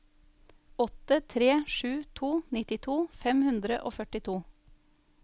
åtte tre sju to nittito fem hundre og førtito